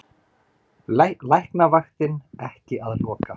Læknavaktin ekki að loka